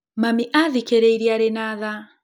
Mami aathikĩrĩirie arĩ na tha.